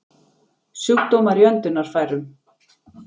Sjúkdómar í öndunarfærum